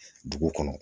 Dugu kɔnɔ